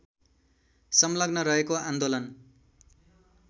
संलग्न रहेको आन्दोलन